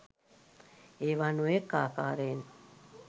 ඒවා නොයෙක් ආකාරයෙන්